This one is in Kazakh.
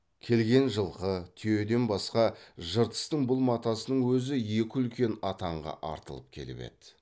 келген жылқы түйеден басқа жыртыстың бұл матасының өзі екі үлкен атанға артылып келіп еді